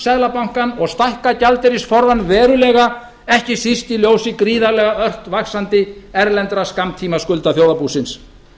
seðlabankann og stækka gjaldeyrisforðann veruleika ekki síst í ljósi gríðarlega ört vaxandi erlendra skammtímaskulda þjóðarbúsins